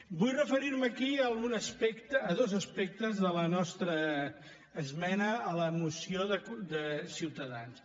vull referir me aquí a dos aspectes de la nostra esmena a la moció de ciutadans